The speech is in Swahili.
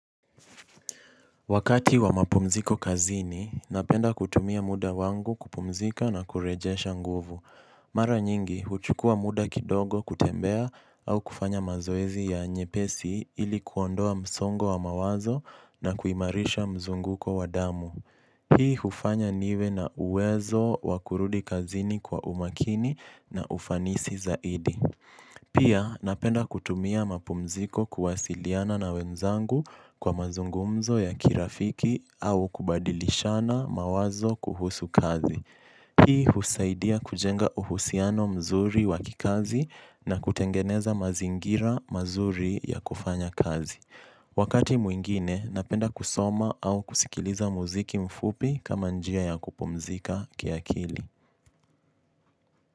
Wakati wa mapumziko kazini, napenda kutumia muda wangu kupumzika na kurejesha nguvu. Mara nyingi, huchukua muda kidogo kutembea au kufanya mazoezi ya nyepesi ili kuondoa msongo wa mawazo na kuimarisha mzunguko wa damu. Hii hufanya niwe na uwezo wa kurudi kazini kwa umakini na ufanisi zaidi. Pia napenda kutumia mapumziko kuwasiliana ma wenzangu kwa mazungumzo ya kirafiki au kubadilishana mawazo kuhusu kazi hii husaidia kujenga uhusiano mazuri. Wakati mwingine napenda kusoma au kusikiliza muziki mfupi kama njia ya kupumzika kiakili.